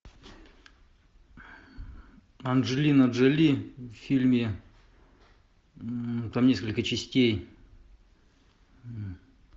анджелина джоли в фильме там несколько частей